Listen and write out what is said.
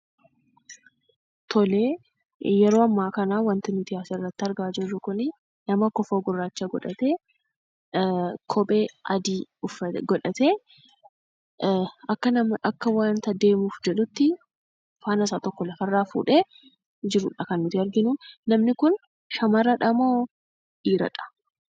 Tole, yeroo amma kanaa, kan nuyi as, irratti argaa jirru kunii, nama kofoo gurraacha godhatee, kophee adii godhatee, akka wanta deemuuf jedhutti, faanasaa tokko lafaarra fuudhee jirudha kan nuti arginu. Namni kun, shamaradhamoo?,dhiiradha?